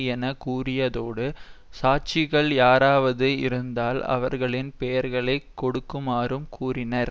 என கூறியதோடு சாட்சிகள் யாராவது இருந்தால் அவர்களின் பெயர்களை கொடுக்குமாறும் கூறினார்